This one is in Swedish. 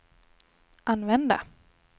använda